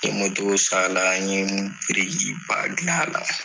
N ye san na ne birikiba ba dilan a la.